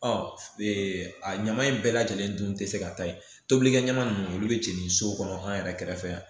Ɔ a ɲama in bɛɛ lajɛlen dun tɛ se ka taa ye tobilikɛ ɲama ninnu olu bɛ jeni so kɔnɔ an yɛrɛ kɛrɛfɛ yan